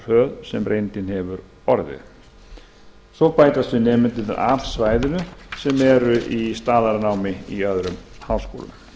hröð sem reyndin hefur orðið svo bætast við nemendur af svæðinu sem eru í staðnámi í öðrum háskólum